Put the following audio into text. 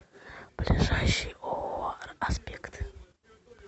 ближайший ооо аспект